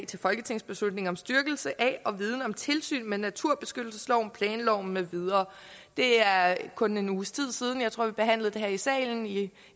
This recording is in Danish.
til folketingsbeslutning om styrkelse af og viden om tilsynet med naturbeskyttelsesloven planloven med videre det er kun en uges tid siden tror jeg vi behandlede det her i salen i